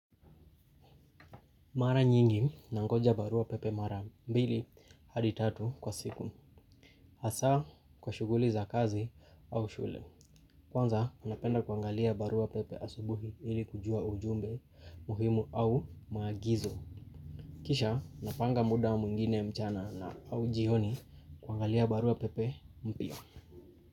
Mara nyingi, na ngoja barua pepe mara mbili, hadi tatu kwa siku. Hasa, kwa shughuli za kazi au shule. Kwanza, napenda kuangalia barua pepe asubuhi ili kujua ujumbe muhimu au maagizo. Kisha, napanga muda mwingine mchana na au jioni kuangalia barua pepe mpya.